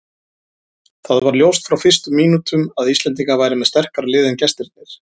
Það var ljóst frá fyrstu mínútum að Íslendingar væru með sterkara lið en gestirnir.